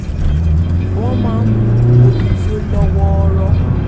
wọ́n máa ń mu omi tí ó lọ́ wọ́ọ́rọ́